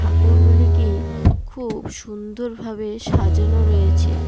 ঠাকুরগুলিকে খুব সুন্দর ভাবে সাজানো রয়েছে।